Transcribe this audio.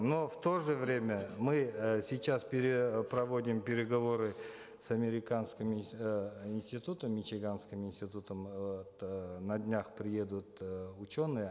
но в то же время мы э сейчас проводим переговоры с американским э институтом мичиганским институтом э вот на днях приедут э ученые